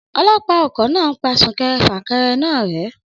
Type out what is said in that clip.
Ọlọ́pàá ọkọ̀ náà ń pa sún kẹrẹ fà kẹrẹ náà rẹ́.